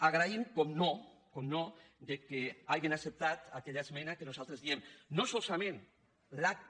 agraïm naturalment que hagin acceptat aquella es·mena que nosaltres diem no solament l’acta